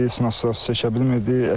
Nasoslar çəkə bilmirdi.